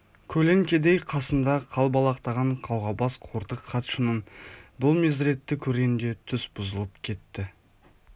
көлеңкедей қасында қалбалақтаған қауғабас қортық хатшының бұл мезіретті көргенде түс бұзылып кетті